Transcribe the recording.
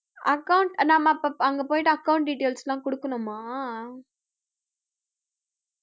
account நம்ம அங்க போயிட்டு account details எல்லாம் கொடுக்கணுமா